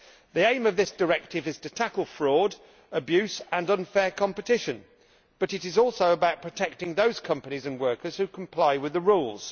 The aim of this directive is to tackle fraud, abuse and unfair competition, but it is also about protecting those companies and workers who comply with the rules.